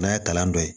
N'a ye kalan dɔ ye